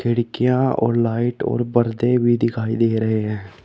खिड़कियां और लाइट और बरदे भी दिखाई दे रहे हैं।